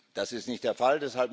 Das ist nicht der Fall.